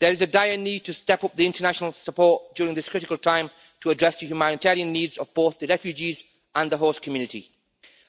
There is a dire need to step up the international support during this critical time, to address the humanitarian needs of both the refugees and the whole community.